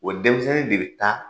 O denmisɛnnin de bi taa